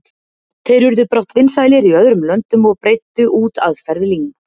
Þeir urðu brátt vinsælir í öðrum löndum og breiddu út aðferðir Ling.